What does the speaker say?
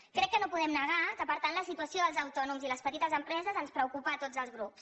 crec que no podem negar que per tant la situació dels autònoms i les petites empreses ens preocupa a tots els grups